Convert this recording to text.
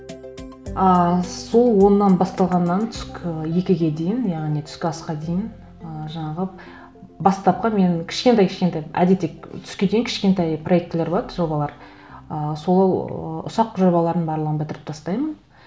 ыыы сол оннан басталғаннан түскі екіге дейін яғни түскі асқа дейін ы жаңағы бастапқы менің кішкентай кішкентай әдетте түске дейін кішкентай проектілер болады жобалар ы сол ұсақ жобалардың барлығын бітіріп тастаймын